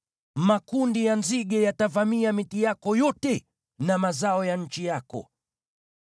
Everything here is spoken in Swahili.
Makundi ya nzige yatavamia miti yako yote na mazao ya nchi yako.